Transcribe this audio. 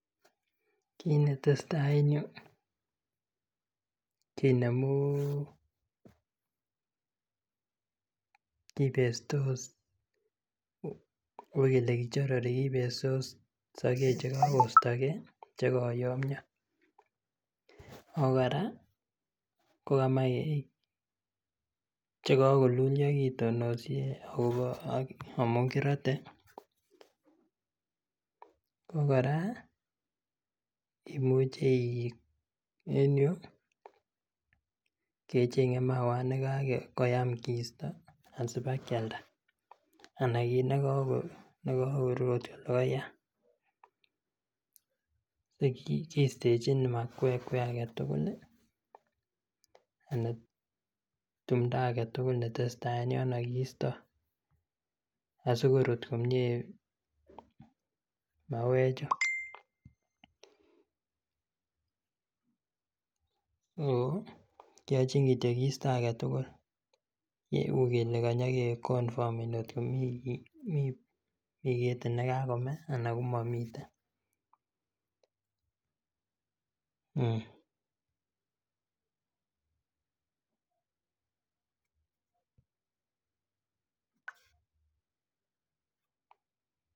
Kit netesetai en yuu kinemu kibestos ukele kichorori kibestos sogek chekostokee chekoyomyo Ako kora kokomoe chekokululio kitonosie akobo amun kirote. Ako kora imuche ih en yuu kecheng'e mauat nekakoyam kistoo asiba kialda anan kit nekako logoyaat kiistechin makwekwek agetugul anan timndo agetugul ne tesetai en yono kiisto asikorut komie mauek chu. ko kiochin kityo kiisto agetugul ukele kanyage konfameni kot ko mi ketit nekakome ana komomiten